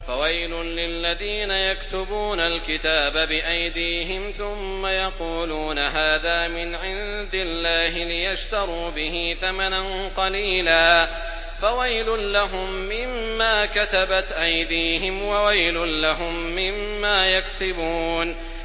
فَوَيْلٌ لِّلَّذِينَ يَكْتُبُونَ الْكِتَابَ بِأَيْدِيهِمْ ثُمَّ يَقُولُونَ هَٰذَا مِنْ عِندِ اللَّهِ لِيَشْتَرُوا بِهِ ثَمَنًا قَلِيلًا ۖ فَوَيْلٌ لَّهُم مِّمَّا كَتَبَتْ أَيْدِيهِمْ وَوَيْلٌ لَّهُم مِّمَّا يَكْسِبُونَ